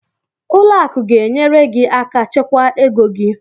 Ụlọ akụ ga-enyere gị aka chekwa ego gị.